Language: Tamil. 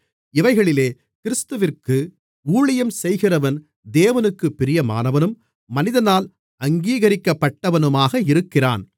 இவைகளிலே கிறிஸ்துவிற்கு ஊழியம் செய்கிறவன் தேவனுக்குப் பிரியமானவனும் மனிதனால் அங்கீகரிக்கப்பட்டவனுமாக இருக்கிறான்